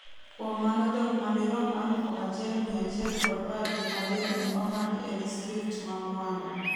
kuom mano dhok madirom alufu achiel mia chiel kod par gi adek ne omaki e distrikt ma Mwanga